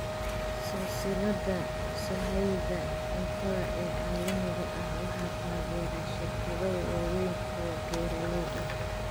Silsilada sahayda cuntada ee caalamiga ah waxaa taageera shirkado waaweyn oo beeralay ah.